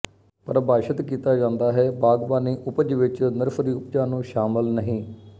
ਪਰਿਭਾਸ਼ਤ ਕੀਤਾ ਜਾਂਦਾ ਹੈ ਬਾਗਬਾਨੀ ਉਪਜ ਵਿੱਚ ਨਰਸਰੀ ਉਪਜਾਂ ਨੂੰ ਸ਼ਾਮਲ ਨਹੀਂ